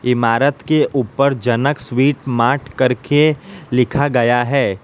इमारत के ऊपर जनक स्वीट मार्ट करके लिखा गया है।